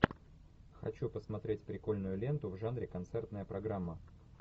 хочу посмотреть прикольную ленту в жанре концертная программа